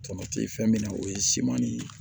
Tamati fɛn min na o ye siman ni